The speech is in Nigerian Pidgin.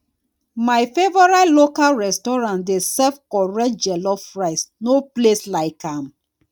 my favorite local restaurant dey serve correct jollof rice no place like am